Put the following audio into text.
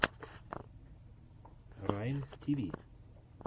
раймстиви